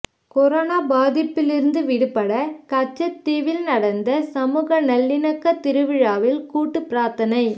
corona பாதிப்பிலிருந்து விடுபட கச்சத்தீவில் நடந்த சமூக நல்லிணக்க திருவிழாவில் கூட்டு பிரார்த்தனை